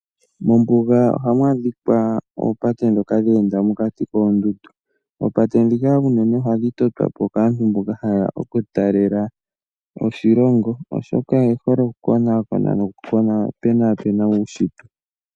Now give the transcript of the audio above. Mombuga ohamu adhika oopate ndhoka dhe enda mokati koondundu. Oopate ndhika unene ohadhi totwa po kaantu mboka haye ya okutalela po oshilongo, oshoka oye hole okukonaakona nokupenaapena uunshitwe.